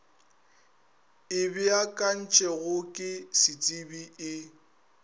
e beakantšwego ke setsebi e